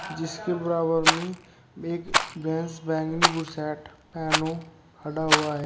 जिसके बराबर में एक भैंस बैंगनी वह बु शर्ट पहनो खड़ा हुआ है।